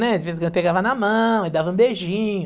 né? De vez em quando pegava na mão e dava um beijinho.